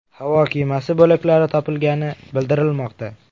Havo kemasi bo‘laklari topilgani bildirilmoqda.